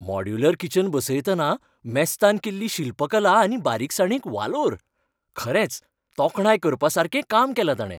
Modular kitchen बसयतना मेस्तान केल्ली शिल्पकला आनी बारिकसाणीक वालोर. खरेंच तोखणाय करपासारकें काम केलां ताणे.